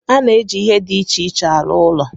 A na-eji ihe dị iche iche arụ ụlọ